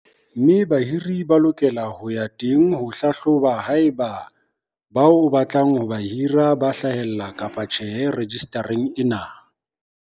mme bahiri ba lokela ho ya teng ho hlahloba haeba bao o batlang ho ba hira ba hlahella kapa tjhe rejistareng ena.